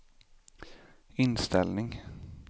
inställning